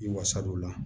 I wasadon o la